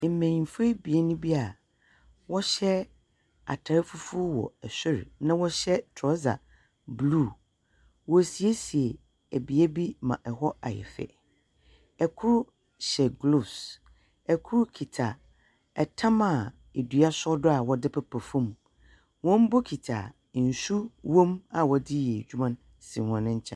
Mbenyimfoɔ ebien bi a wɔhyɛ atar fufuo wɔ sor, na wɔhyɛ trɔsa blue. Wɔresiesie bea bi ma hɔ ayɛ fɛ. Kor hyɛ gloves. Kor kita tam a dua sɔ do a wɔde pepa fam. Wɔn bokiti a nsuw wom a wɔde reyɛ adwuma no si hɔn nkyɛn.